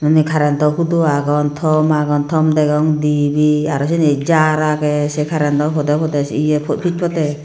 unni karentow hudo agon tom agon tom degong dibey arw seni jar agey sey karentow podey podey ye pis podey.